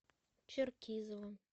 черкизово